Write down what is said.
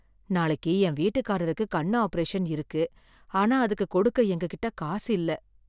நாளைக்கு என் வீட்டுக்காரருக்கு கண் ஆபரேஷன் இருக்கு, ஆனா அதுக்கு கொடுக்க எங்ககிட்ட காசு இல்ல